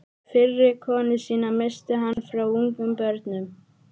Fyrri konu sína missti hann frá ungum börnum.